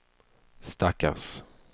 stackars